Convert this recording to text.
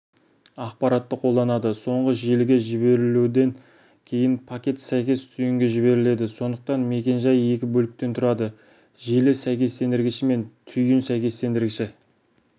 ақпаратты қолданады соңғы желіге жіберілуден кейін пакет сәйкес түйінге жіберіледі сондықтан мекен-жай екі бөліктен тұрады желі сәйкестендіргіші мен түйін сәйкестендіргіші